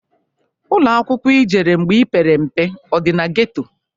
Ụlọakwaụkwọ ijere mgbe ipere mpe ọ dị na geto?